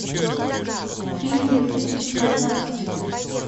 фильм две тысячи девятнадцать